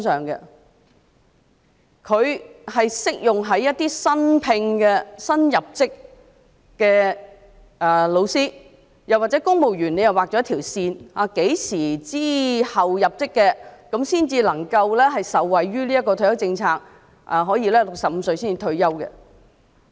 這政策只適用於新聘或新入職的教師，又或在公務員方面，政府也劃了一條線，指明何時之後入職的公務員才能受惠於這項退休政策，可以在65歲退休。